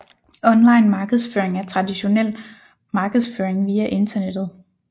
Online markedsføring er traditionel markedsføring via internettet